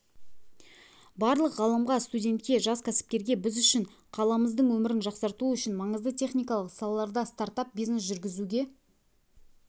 барлық ғалымға студентке жас кәсіпкерге біз үшін қаламыздың өмірін жақсарту үшін маңызды техникалық салаларда стартап-бизнес жүргізуге